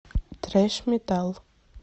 трэш метал